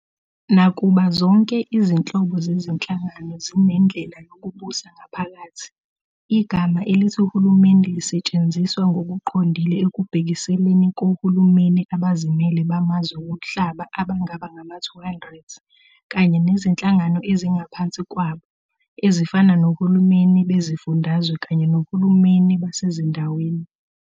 Nakuba zonke izinhlobo zezinhlangano zinendlela yokubusa ngaphakathi, igama elithi uhulumeni lisetshenziswa ngokuqondile ekubhekiseleni kohulumeni abazimele bamazwe womhlaba abangaba ngama-200, kanye nezinhlangano ezingaphansi kwabo, ezifana nohulumeni beziFundazwe kanye nohulumeni basezindaweni.